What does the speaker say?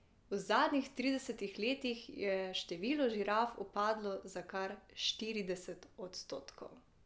V zadnjih tridesetih letih je število žiraf upadlo za kar štirideset odstotkov.